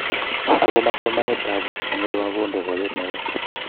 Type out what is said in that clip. Ago ma somanetab buch eng olibo Mabonde boiyot neo?